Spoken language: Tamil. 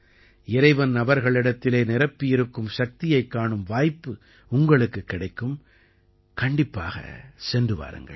இறைவன் அவர்களிடத்திலே நிரப்பியிருக்கும் சக்தியைக் காணும் வாய்ப்பு உங்களுக்குக் கிடைக்கும் கண்டிப்பாகச் சென்று வாருங்கள்